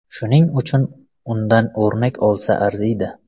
Shuning uchun undan o‘rnak olsa arziydi.